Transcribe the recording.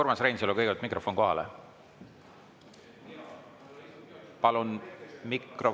Urmas Reinsalul palun kõigepealt mikrofon sisse lülitada.